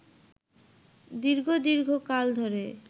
দীর্ঘ দীর্ঘ কাল ধরে